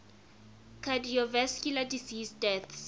cardiovascular disease deaths